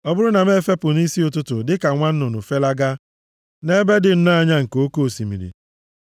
Ọ bụrụ na m efepụ nʼisi ụtụtụ dịka nwa nnụnụ, felagaa nʼebe dị nnọọ anya nke oke osimiri,